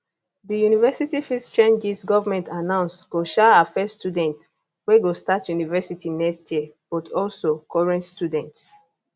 di university fees changes government announce go um affect students wey go start university next year but also current students